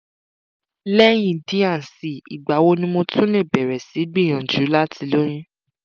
lẹ́yìn d and c ìgbà wo ni mo tún lè bẹ̀rẹ̀ sí í gbìyànjú láti lóyún?